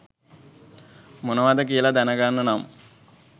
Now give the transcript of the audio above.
මොනවද කියලා දැනගන්න නම්